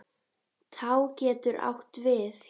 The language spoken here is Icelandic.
Tá getur átt við